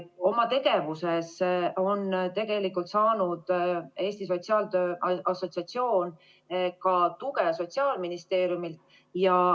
Oma tegevuses on Eesti Sotsiaaltöö Assotsiatsioon saanud tegelikult ka tuge Sotsiaalministeeriumilt.